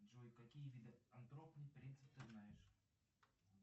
джой какие виды антропный принцип ты знаешь